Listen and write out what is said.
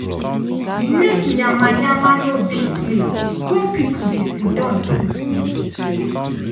make yama yama no dey place wey people dey siddan put